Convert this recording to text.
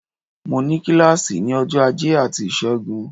Mo ní kílàsì ní ọjọ́ ajé àti ìṣẹ́gun